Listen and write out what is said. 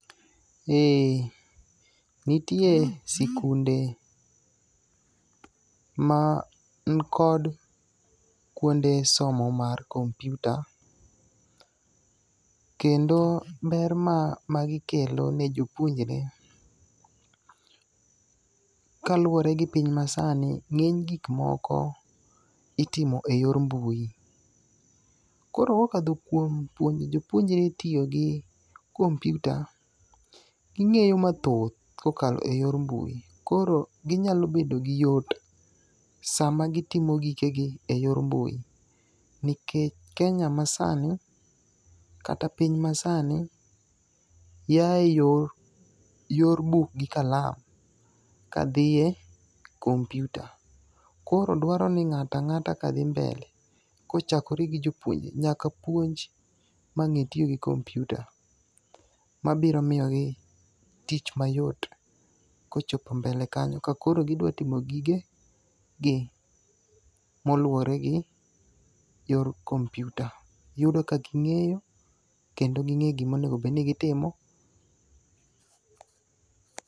Nitie sikunde ma nikod kuonde somo mar kompyuta. Kendo ber ma gikelo ne jopuonjre kaluore gi piny masani ng'eny gik moko itimo e yor mbui. Koro kokadho kuom jopuonjre tiyo gi kompyuta ging'eyo mathoth kokalo e yor mbui. Koro ginyalo bedo gi yot samagitimo gikegi e yor mbui. Nikech Kenya ma sani kata piny masani yae yor buk gi kalam kadhie kompyuta. Kor dwaro ni ng'ato ang'ata ka dhi mbele kochakore gi jopuo nyaka puonj ma ng'e tiyo gi kompyuta mabiro miyogi tich mayot kochopo mbele kanyo kakoro gidwatimo gigegi moluwore go yor kompyuta. Yudo kaging'eyo kendo ging'e gimonegobed ni gitimo.